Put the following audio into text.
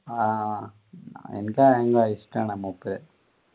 ആഹ് എനിക്ക് ഭയങ്കര ഇഷ്ടമാണ്